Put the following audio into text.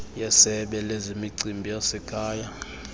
yesebe lezemicimbi yasekhaya